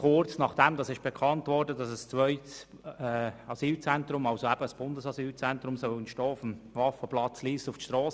Kurz nachdem bekannt wurde, dass auf dem Waffenplatz Lyss ein Bundesasylzentrum realisiert werden soll, gingen unsere Mitglieder auf die Strasse.